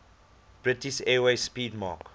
british airways 'speedmarque